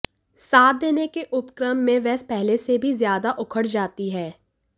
साथ देने के उपक्रम में वह पहले से भी ज़्यादा उखड़ जाती है